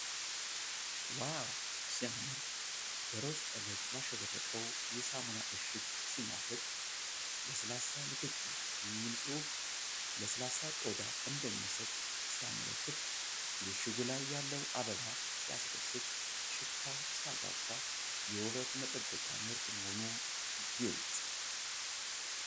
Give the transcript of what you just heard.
ዋው ሲያምር! በሮዝ ቀለም ያሸበረቀው የሳሙና እሽግ ሲማርክ! "ለስላሳ ንክኪ" የሚል ፅሁፍ ለስላሳ ቆዳ እንደሚሰጥ ሲያመለክት! የእሽጉ ላይ ያለው አበባ ሲያስደስት! ሽታው ሲያጓጓ! የውበት መጠበቂያ ምርት መሆኑ ግልፅ!